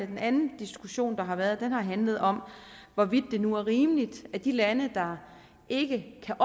den anden diskussion der har været har handlet om hvorvidt det nu er rimeligt at de lande der ikke kan